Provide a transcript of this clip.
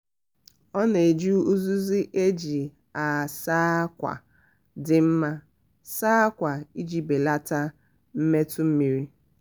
ọ na-eji uzuzu e ji asa akwa dị mma asa akwa iji belata mmetọ mmiri.